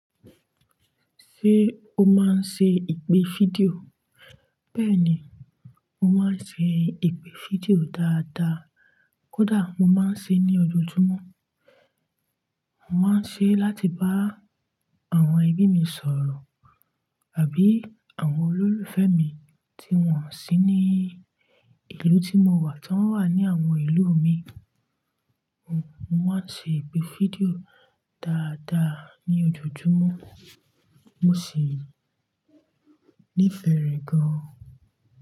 Ṣé o máa ń ṣe ìpè fídíò? Bẹ́ẹ̀ni, mo máa ń ṣe ìpè fídíò dáadáa. Kódà mo máa ń ṣe ní ojoojúmọ́. Mo máa ń ṣe láti bá àwọn ẹbí mi sọ̀rọ̀ àbí àwọn olólùfẹ́ mi tí wọ́n sì ní ìlú tí mo wà tí wọ́n wà ní àwọn ìlú mi. Mo máa ń ṣe ìpè fídíò dáadáa ní ojoojúmọ́. Mo sì -nífẹ̀ẹ́ rẹ̀ gan-an.